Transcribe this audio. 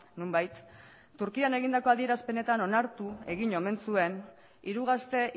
nonbait turkian egindako adierazpenetan onartu egin omen zuen hiru gazte